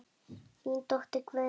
Þín dóttir Guðný.